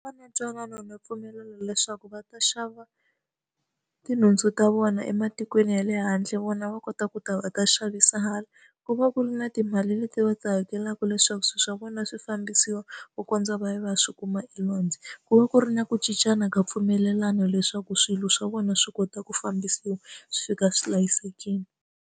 Va na ntwanano na mpfumelelano leswaku va ta xava tinhundzu ta vona ematikweni ya le handle vona va kota ku ta va ta xavisa hala. Ku va ku ri na timali leti va ti hakelaka leswaku swilo swa vona swi fambisiwa ku kondza va ya va ya swi kuma elwandle. Ku va ku ri na ku cincana ka mpfumelelano leswaku swilo swa vona swi kota ku fambisiwa, swi fika swi hlayisekile.